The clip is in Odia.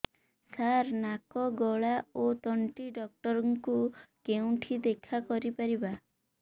ସାର ନାକ ଗଳା ଓ ତଣ୍ଟି ଡକ୍ଟର ଙ୍କୁ କେଉଁଠି ଦେଖା କରିପାରିବା